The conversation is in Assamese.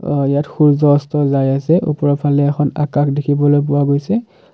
ইয়াত সূৰ্য্য অস্ত যায় আছে ওপৰৰ ফালে এখন আকাশ দেখিবলৈ পোৱা হৈছে।